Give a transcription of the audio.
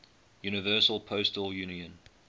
universal postal union